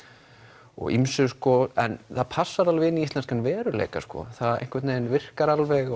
og ýmsu sko en það passar alveg í íslenskan veruleika það virkar alveg